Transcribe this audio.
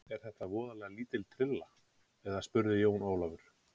Er þetta voðalega lítil trylla, eða spurði Jón Ólafur.